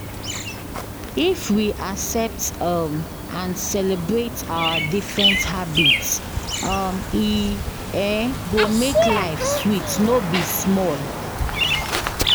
If we fit accept um and celebrate our different habits, um e um go make life sweet no be small.